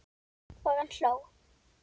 Og hann hló.